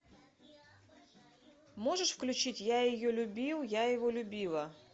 можешь включить я ее любил я его любила